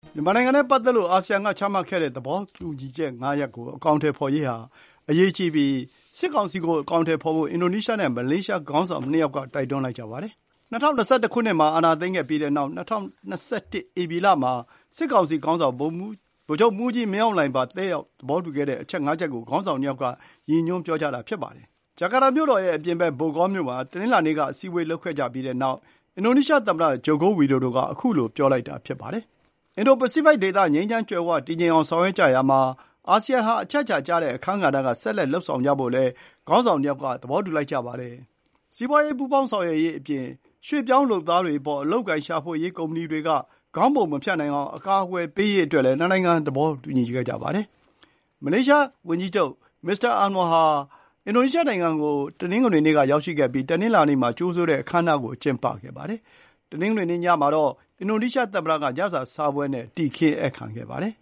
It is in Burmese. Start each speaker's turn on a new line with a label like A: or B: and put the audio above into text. A: မြန်မာနိုင်ငံနဲ့ ပတ်သက်ပြီး အာဆီယံက ချမှတ်ခဲ့တဲ့ သဘောတူညီချက် ၅ ရပ် ကို အကောင်အထည်ဖော်ရေးဟာ အရေးကြီးပြီး စစ်ကောင်စီက ဒါကို အကောင်အထည်ဖော်ဖို့ အင်ဒိုနီးရှားနဲ့ မလေးရှား ခေါင်းဆောင် ၂ ဦးက တိုက်တွန်းလိုက်ကြပါတယ်။ ၂၀၂၁ ခုနှစ် မှာ အာဏာသိမ်းခဲ့ပြီးတဲ့နောက် ၂၀၂၁ ဧပြီလ မှာ စစ်ကောင်စီခေါင်းဆောင် ဗိုလ်ချုပ်မှူးကြီး မင်းအောင်လှိုင်ပါ တက်ရောက် သဘောတူခဲ့တဲ့ အဲဒီ အချက် ၅ ချက်ကို ခေါင်းဆောင် ၂ ယောက်က ရည်ညွှန်းတာ ဖြစ်ပါတယ်။ ဂျာကာတာမြို့တော်ရဲ့ အပြင်ဘက် ဘိုဂေါ် (Bogor)မြို့မှာ ဇန်နဝါရီ ၉ ရက် ဒီကနေ့ အစည်းအဝေး လုပ်ခဲ့ကြပြီးတဲ့နောက် အင်ဒိုနီးရှား သမ္မတ ဂျိုကိုဝီဒိုဒိုက ခုလို ပြောလိုက်တာ ဖြစ်ပါတယ်။ အင်ဒို-ပစိဖိတ်ဒေသ ငြိမ်းချမ်း ကြွယ်ဝတည်ငြိမ်အောင် ဆောင်ရွက်ကြရာမှာ အာဆီယံဟာ အချက်အချာကျတဲ့ အခန်းဆက်ကဏ္ဍက ဆက်လက် လုပ်ဆောင်ကြဖို့လည်း ခေါင်းဆောင် ၂ ယောက် က သဘောတူကြပါတယ်။ စီးပွါးရေး ပူးပေါင်းဆောင်ရွက်ရေးအပြင် ရွှေ့ပြောင်းလုပ်သားတွေအပေါ် အလုပ်အကိုင် ရှာဖွေရေး ကုမ္ပဏီတွေက ခေါင်းပုံမဖြတ်နိုင်အောင် အကာအကွယ်ပေးရေးအတွက်လည်း နှစ်နိုင်ငံ သဘောတူခဲ့ကြပါတယ်။ မလေးရှားဝန်ကြီးချုပ် မစ္စတာအန်ဝါဟာ အင်ဒိုနီးရှားနိုင်ငံကို မနေ့ တနင်္ဂနွေနေ့က ရောက်ရှိခဲ့ပြီး ဒီကနေ့ တနင်္လာနေ့ မှာ ကြိုဆိုတဲ့ အခမ်းအနားကို ကျင်းပခဲ့ပါတယ်။ တနင်္ဂနွေနေ့ ညကတော့ အင်ဒိုနီးရှား သမ္မတက ညစာစားပွဲနဲ့
B: တည်ခင်းဧည့်ခံခဲ့ပါတယ်